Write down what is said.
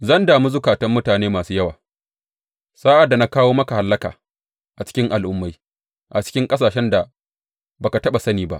Zan dami zukatan mutane masu yawa sa’ad da na kawo maka hallaka a cikin al’ummai, a cikin ƙasashen da ba ka taɓa sani ba.